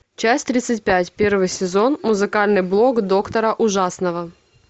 часть тридцать пять первый сезон музыкальный блог доктора ужасного